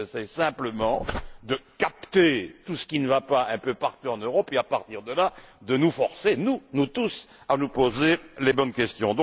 Non, j'essaie simplement de capter tout ce qui ne va pas un peu partout en Europe afin, à partir de là, de nous forcer, nous tous, à nous poser les bonnes questions.